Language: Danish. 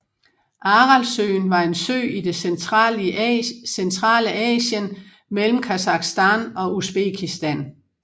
Aralsøen var en sø i det centrale Asien mellem Kasakhstan og Usbekistan